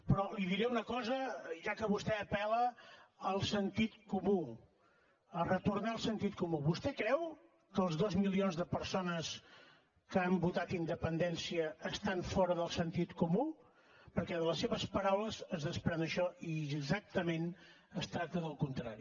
però li diré una cosa ja que vostè apel·la al sentit comú a retornar al sentit comú vostè creu que els dos milions de persones que han votat independència estan fora del sentit comú perquè de les seves paraules es desprèn això i exactament es tracta del contrari